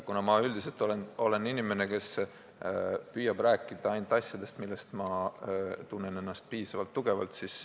Aga ma üldiselt olen inimene, kes püüab rääkida asjadest, milles ma tunnen ennast piisavalt tugevalt.